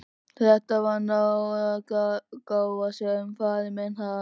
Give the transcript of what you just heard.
Þetta var náðargáfa sem faðir minn hafði.